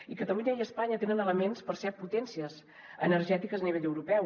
i catalunya i espanya tenen elements per ser potències energètiques a nivell europeu